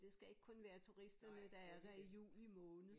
Det skal ikke kun være turisterne der er der i juli måned